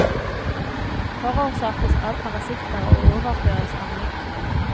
Forårsakes av parasitter og overføres av mygg.